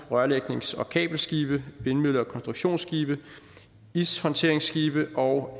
rørlægnings og kabelskibe vindmølle og konstruktionsskibe ishåndteringsskibe og